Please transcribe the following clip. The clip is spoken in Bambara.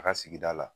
A ka sigida la